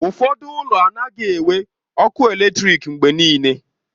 Ụfọdụ ụlọ anaghị enwe ọkụ eletrik mgbe niile